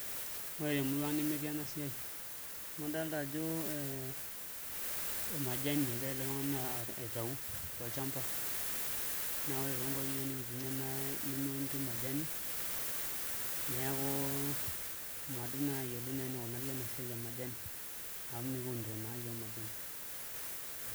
Ore temurua ang' nemetii ena siai amu idolta ajo majani egira ele tung'ani aitau tolchamba neeku ore toonkuapi nikitii iyiook nemeunitoi majani, neeku madup naa ayiolo enikunari ena siai e majani amu mekiunito naa iyiook majani.